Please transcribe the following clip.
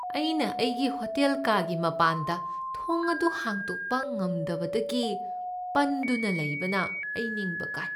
ꯑꯩꯅ ꯑꯩꯒꯤ ꯍꯣꯇꯦꯜ ꯀꯥꯒꯤ ꯃꯄꯥꯟꯗ ꯊꯣꯡ ꯑꯗꯨ ꯍꯥꯡꯗꯣꯛꯄ ꯉꯝꯗꯕꯗꯒꯤ ꯄꯟꯗꯨꯅ ꯂꯩꯕꯅ ꯑꯩ ꯅꯤꯡꯕ ꯀꯥꯏ ꯫